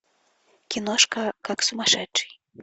киношка как сумасшедший